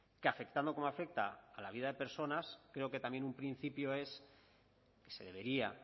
que afectando como afecta a la vida de personas creo que también un principio es que se debería